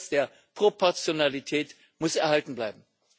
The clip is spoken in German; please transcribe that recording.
Der Grundsatz der Proportionalität muss erhalten bleiben.